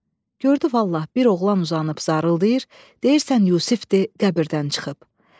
Gördü vallah, bir oğlan uzanıb zarıldayır, deyirsən Yusifdir, qəbirdən çıxıb.